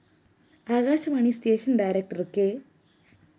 Akashvani station director K